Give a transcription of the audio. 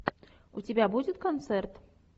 у тебя будет концерт